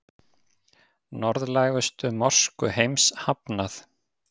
Norðlægustu mosku heims hafnað